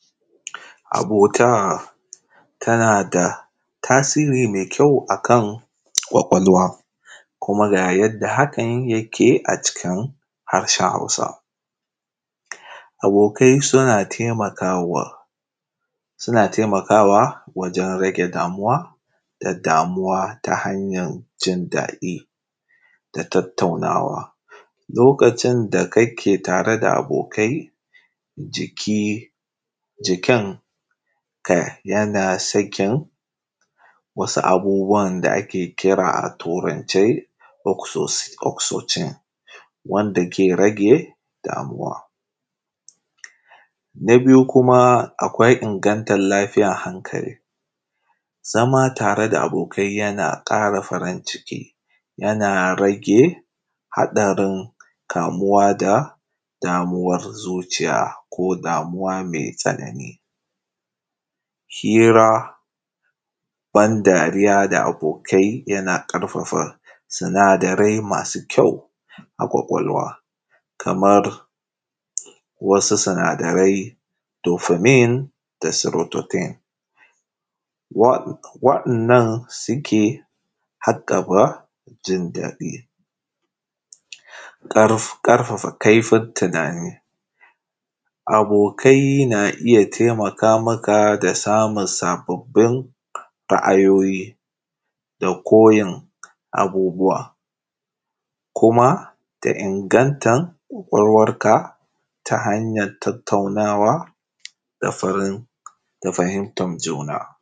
Abota tana da tasiri me kyau a kan kwakwalwa kuma ga yadda hakan yake a cikin harshen Hausa. Abokai suna taimakwa, suna taimakawa wajen rage damuwa da damuwa ta hanyan jin daɗi da tattaunawa, lokacin da ake tare da abokai jiki jikinka yana sakin wasu abubbuwan da ake kira a turance oksodis. Oksijin wanda ke rage damuwa, na biyu kuma akwai ingantar lafiyan hankali zama tare da abokai yana ƙara farin ciki yana ƙara rage haɗarin kamuwa da damuwa, zuciya ko damuwa me raɗaɗi, hira, bandariya da abokai yana ƙarfafa sinadarai masu kyau a kwakwalwa kaman wasu sinadarai fofimin da sulorodin waɗanda suke haƙaka ƙarfafa sabon tunani. Abokai na taimaka maka ra’ayoyi da koyan abubbuwa kuma da ingantan kwakwalwanka ta hanyan tattaunawa da fahimtan juna.